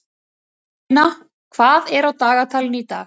Karólína, hvað er á dagatalinu í dag?